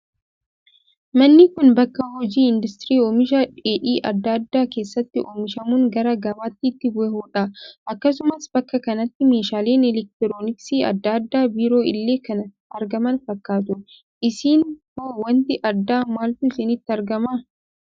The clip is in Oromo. Manni Kun, bakka hojiin industirii oomisha dheedhii addaa addaa keessatti oomishamuun gara gabaatti itti bahudha. Akkasumas bakka kanatti meeshaaleen eleektirooniksii addaa addaa biroo illee kan argaman fakkaatu. Isin hoo waanti addaa maaltu isinitti argama?